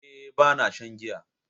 Eh, Bana shan giya